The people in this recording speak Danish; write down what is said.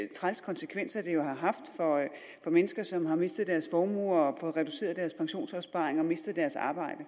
trælse konsekvenser det jo har haft for mennesker som har mistet deres formue og fået reduceret deres pensionsopsparing og mistet deres arbejde